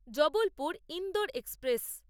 Jabalpur Indore express